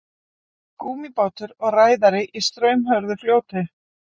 Gúmmíbátur og ræðari í straumhörðu fljóti.